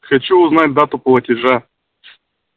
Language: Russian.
хочу узнать дату платежа